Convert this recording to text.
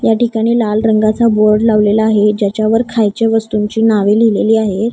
या ठिकाणी लाल रंगाचा बोर्ड लावलेला आहे ज्याच्यावर खायचे वस्तूंची नावे लिहिलेली आहेत.